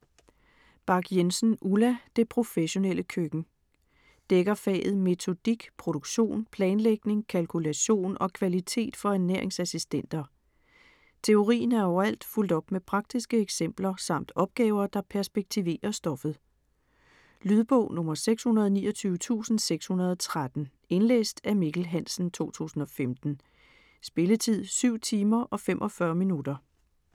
Bach Jensen, Ulla: Det professionelle køkken Dækker faget Metodik, produktion, planlægning, kalkulation og kvalitet for ernæringsassistenter. Teorien er overalt fulgt op med praktiske eksempler samt opgaver, der perspektiverer stoffet. Lydbog 629613 Indlæst af Mikkel Hansen, 2015. Spilletid: 7 timer, 45 minutter.